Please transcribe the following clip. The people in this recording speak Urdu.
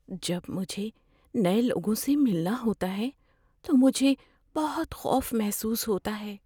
جب مجھے نئے لوگوں سے ملنا ہوتا ہے تو مجھے بہت خوف محسوس ہوتا ہے۔